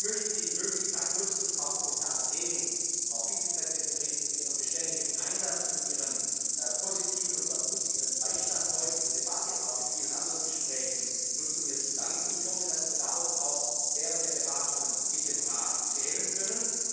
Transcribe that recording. Ich möchte die Möglichkeit nutzen, um Frau Vizepräsidentin Reding für ihren beständigen Einsatz und ihren positiven und ermutigenden Beistand heute in der Debatte und auch in vielen anderen Gesprächen zu danken. Ich hoffe, dass wir darauf auch während der Beratungen mit dem Rat zählen können.